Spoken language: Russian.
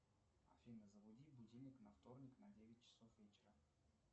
афина заведи будильник на вторник на девять часов вечера